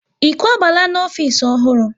Ị kwabala n'ofisi ọhụrụ?